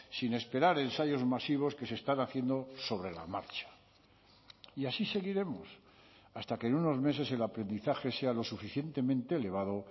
sin esperar ensayos masivos que se están haciendo sobre la marcha y así seguiremos hasta que en unos meses el aprendizaje sea lo suficientemente elevado